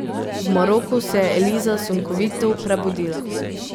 V Maroku se je Eliza sunkovito prebudila.